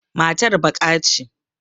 Matar baƙa ce.